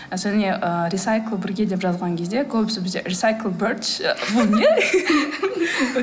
және і рисайклбірге деп жазған кезде көбісі бізде рисайклбердс бұл не